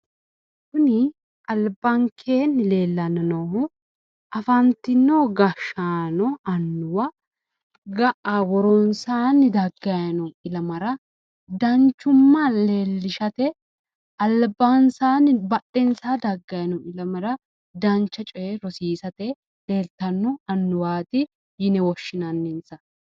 Kuni albankeenni leellanni noohu afantino gashshaano annuwa, ga'a woronsaanni daggayino ilamara danchumma leellishshate badhensaa daggayi no ilamara dancha coye rosiisate leeltanno annuwwaati yine woshshinanninsa.